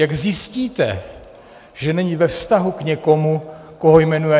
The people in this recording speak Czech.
Jak zjistíte, že není ve vztahu k někomu, koho jmenuje?